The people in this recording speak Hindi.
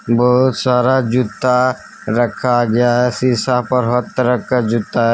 बहुत सारा जूता रखा गया है शिशा पर हर तरह का जूता है।